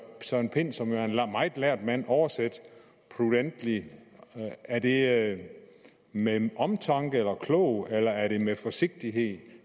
søren pind som jo er en meget lærd mand oversætte prudently er det med omtanke eller klogt eller er det med forsigtighed